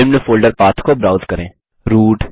निम्न folder path को browse करें